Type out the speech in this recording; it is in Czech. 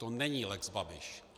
To není lex Babiš.